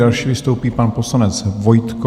Další vystoupí pan poslanec Vojtko.